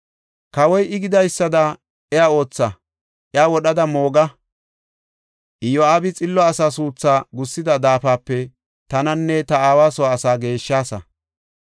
Kawoy, “I gidaysada iya ootha; iya wodhada mooga! Iyo7aabi xillo asaa suuthu gussida daafape tananne ta aawa soo asaa geeshshaasa.